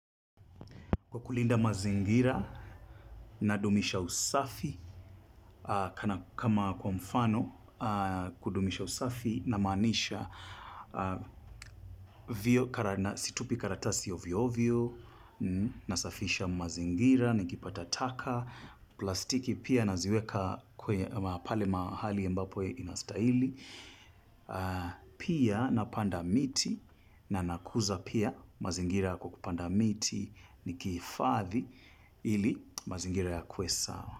Kwa kulinda mazingira nadumisha usafi kama kwa mfano kudumisha usafi na maanisha si tupi karatasi ovyo ovyo nasafisha mazingira nikipata taka. Plastiki pia naziweka kwa pale mahali mbapo inastahili pia napanda miti na nakuza pia mazingira kwa kupanda miti nikihifadhi ili mazingira ya kuwe sawa.